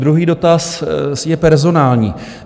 Druhý dotaz je personální.